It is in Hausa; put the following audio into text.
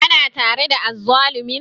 Kana tare da azzalumin?